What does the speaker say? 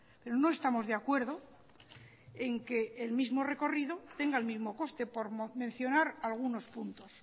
pero no estamos de acuerdo en que el mismo recorrido tenga el mismo coste por mencionar algunos puntos